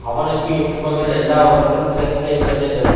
அவனுக்கு இன்பங்கள் எல்லாவற்றிலும் சிறந்த இன்பத்தை தரும்